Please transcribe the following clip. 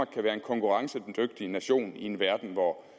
kan være en konkurrencedygtig nation i en verden hvor